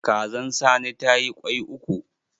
Kazan sani ta yi kwai uku.